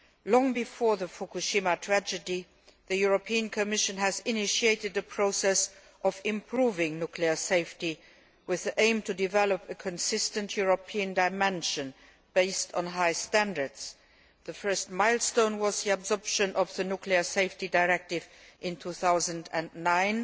Long before the Fukushima tragedy, the Commission initiated a process of improving nuclear safety with the aim of developing a consistent European dimension based on high standards. The first milestone was the adoption of the Nuclear Safety Directive in 2009,